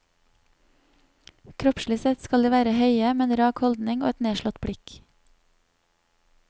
Kroppslig sett skal de være høye med en rak holdning og et nedslått blikk.